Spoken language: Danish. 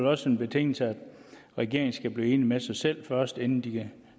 også en betingelse at regeringen skal blive enig med sig selv først inden de kan